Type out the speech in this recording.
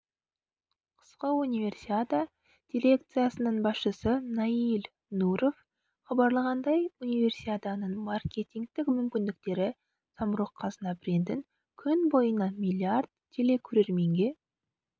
қысқы универсиада дирекциясының басшысы наиль нуров хабарлағандай универсиаданың маркетингтік мүмкіндіктері самрұқ-қазына брендін күн бойына миллиард телекөрерменге